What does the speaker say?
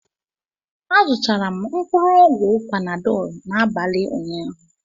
Azụtara m mkpụrụ ọgwụ Panadọ n'abalị ụnyaahụ